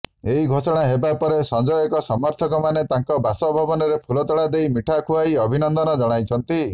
ଏହି ଘୋଷଣା ହେବା ପରେ ସଂଜୟଙ୍କ ସମର୍ଥକମାନେ ତାଙ୍କ ବାସଭବନରେ ଫୁଲତୋଡା ଦେଇ ମିଠା ଖୁଆଇ ଅଭିନନ୍ଦନ ଜଣାଇଛନ୍ତି